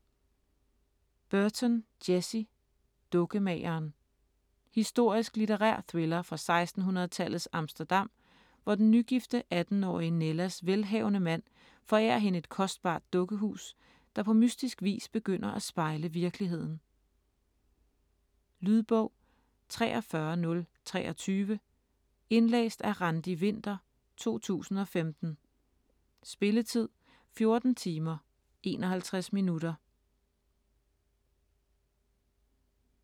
Burton, Jessie: Dukkemageren Historisk litterær thriller fra 1600-tallets Amsterdam, hvor den nygifte 18-årige Nellas velhavende mand forærer hende et kostbart dukkehus, der på mystisk vis begynder at spejle virkeligheden. Lydbog 43023 Indlæst af Randi Winther, 2015. Spilletid: 14 timer, 51 minutter.